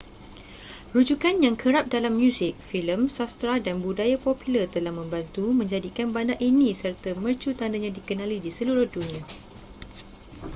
rujukan yang kerap dalam muzik filem sastera dan budaya popular telah membantu menjadikan bandar ini serta mercu tandanya dikenali di seluruh dunia